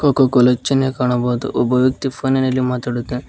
Coca-Cola ಚಿನ್ಹೆ ಕಾಣಬಹುದು ಒಬ್ಬ ವ್ಯಕ್ತಿ ಫೋನಿನಲ್ಲಿ ಮಾತಾಡುತ್ತಾ--